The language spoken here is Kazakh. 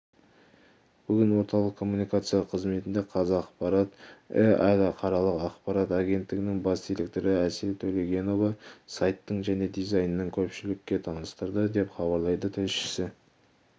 бүгін орталық коммуникациялар қызметінде қазақпарат іалықаралық ақпарат агенттігінің бас директоры әсел төлегенова сайттың жаңа дизайынын көпшілікке таныстырды деп хабарлайды тілшісі